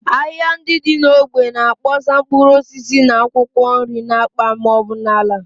Ahịa ndị dị n’ógbè na-akpọsa mkpụrụ osisi na akwụkwọ nri n’akpa ma ọ bụ n’ala